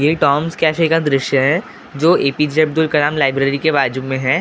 ये Tom's cafe की दृश्य हैं जो एपीजे अद्बुल कलम लाइब्रेरी के बाजू मैं हैं उस।